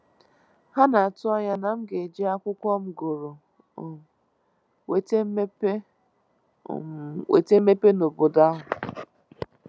Ha na-atụ anya na m ga-eji akwụkwọ m gụrụ um wete mmepe um wete mmepe n'obodo ahụ.